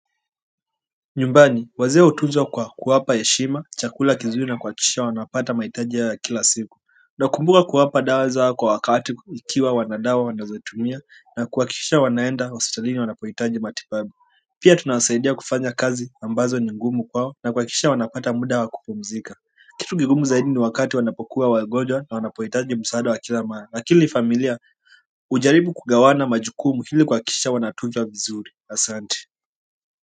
Nyumbani wazee hutunzwa kwa kuwapa heshima chakula kizuri na kuhakikisha wanapata mahitaji ya kila siku. Nakumbuka kuwapa dawa zao kwa wakati ikiwa wana dawa wanazotumia na kuhakikisha wanaenda hospitalini wanapohitaji matibabu pia tunawasaidia kufanya kazi ambazo ni ngumu kwao na kuhakikisha wanapata muda wa kupumzika kitu kigumu zaidi ni wakati wanapokuwa wagonjwa na wanapohitaji msaada wa kila mara, na kila familia hujaribu kugawana majukumu ili kuhakikisha wanatunzwa vizuri. Asante.